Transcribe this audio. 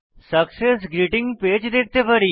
success greeting page দেখতে পারি